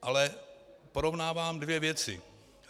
Ale porovnávám dvě věci.